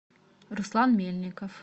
руслан мельников